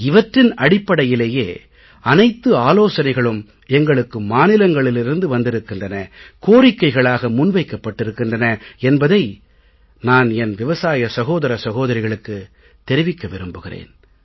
இவற்றின் அடிப்படையிலேயே அனைத்து ஆலோசனைகளும் எங்களுக்கு மாநிலங்களிலிருந்து வந்திருக்கின்றன கோரிக்கைகளாக முன் வைக்கப் பட்டிருக்கின்றன என்பதை நான் என் விவசாய சகோதர சகோதரிகளுக்குத் தெரிவிக்க விரும்புகிறேன்